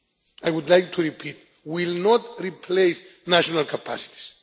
I would like to repeat, it will not replace national capacities.